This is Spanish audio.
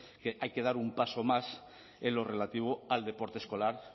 que hay que dar un paso más en lo relativo al deporte escolar